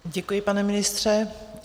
Děkuji, pane ministře.